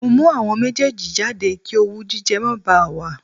Mo mú àwọn méjèèjì jáde kí owú jíjẹ má bá a wà